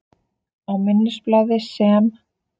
Á minnisblaði, sem